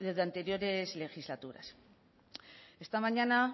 de anteriores legislaturas esta mañana